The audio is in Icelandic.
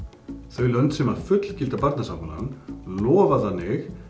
þau lönd sem að fullgilda Barnasáttmálann lofa þannig